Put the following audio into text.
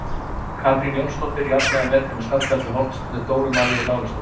Katrín Jónsdóttir jafnar metin með skalla eftir hornspyrnu Dóru Maríu Lárusdóttur.